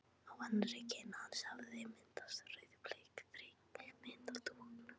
Á annarri kinn hans hafði myndast rauðbleik þrykkimynd af dúknum.